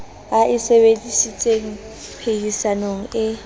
a e sebedisitseng phehisanong e